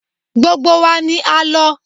Gbogbo wa ni a lọ.